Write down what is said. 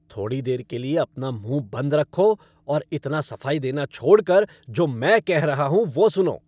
थोड़ी देर के लिए अपना मुँह बंद रखो और इतना सफाई देना छोड़ कर जो मैं कहा रहा हूँ, वह सुनो।